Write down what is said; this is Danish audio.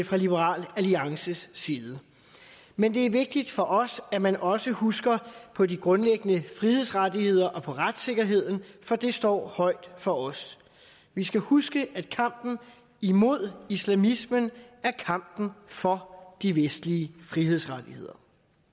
fra liberal alliances side men det er vigtigt for os at man også husker på de grundlæggende frihedsrettigheder og på retssikkerheden for det står højt for os vi skal huske at kampen imod islamismen er kampen for de vestlige frihedsrettigheder